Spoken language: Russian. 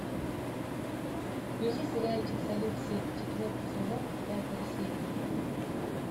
включи сериальчик салют семь четвертый сезон пятая серия